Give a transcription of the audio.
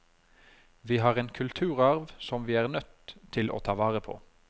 Vi har en kulturarv som vi er nødt til å ta vare på.